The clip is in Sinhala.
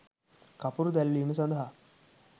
කපුරු දැල්වීම සඳහා